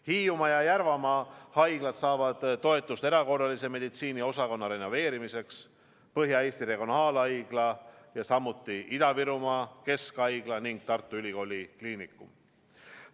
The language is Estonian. Hiiumaa ja Järvamaa haigla saavad toetust erakorralise meditsiini osakonna renoveerimiseks, summad on ette nähtud ka Põhja-Eesti Regionaalhaiglale, Ida-Virumaa Keskhaiglale ning Tartu Ülikooli Kliinikumile.